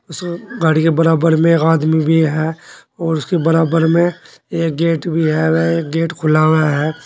गाड़ी के बराबर में एक आदमी भी है और उसके बराबर में एक गेट भी है वह एक गेट खुला हुआ है।